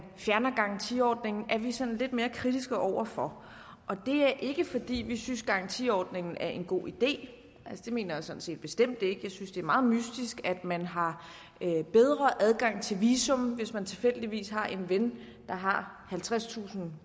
fjerner garantiordningen er vi sådan lidt mere kritiske over for det er ikke fordi vi synes garantiordningen er en god idé altså det mener jeg sådan set bestemt ikke jeg synes det er meget mystisk at man har bedre adgang til visum hvis man tilfældigvis har en ven der har halvtredstusind